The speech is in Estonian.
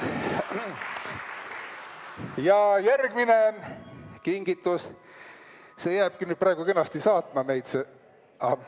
Ja järgmine kingitus, see jääbki nüüd praegu kenasti saatma meid, see ...